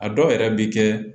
A dɔw yɛrɛ bɛ kɛ